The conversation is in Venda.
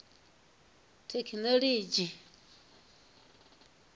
thekhinolodzhi